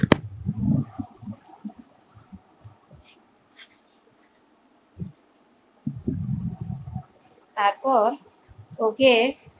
তারপর ওকে